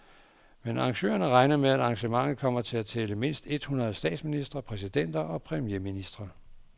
Men arrangørerne regner med, at arrangementet kommer til at tælle mindst et hundrede statsministre, præsidenter og premierministre.